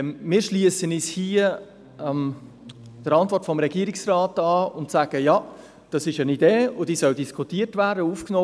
– Wir schliessen uns der Antwort des Regierungsrats an und sagen, dass dies eine Idee sei, die aufgenommen und diskutiert werden solle.